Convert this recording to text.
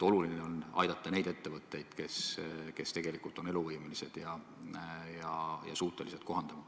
Oluline on aidata neid ettevõtteid, kes on eluvõimelised ja suutelised kohanduma.